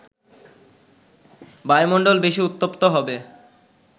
বায়ুমণ্ডল বেশি উত্তপ্ত হবে